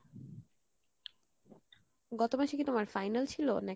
গত মাসে কী তোমার final ছিলো নাকি?